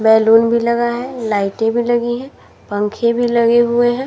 Balloon भी लगा है। लाइटें भी लगी हैं। पंखे भी लगे हुए हैं।